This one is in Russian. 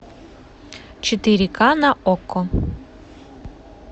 четыре ка на окко